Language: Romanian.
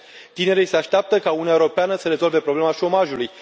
Tinerii se așteaptă ca Uniunea Europeană să rezolve problema șomajului.